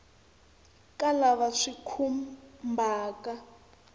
ka lava swi va khumbhaka